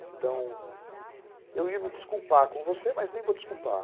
Então, eu ia me desculpar com você, mas nem vou desculpar.